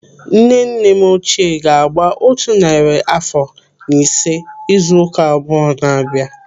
Nne nne m ochie ga-agba otu narị àfọ na ise izu ụka abụọ n'abia.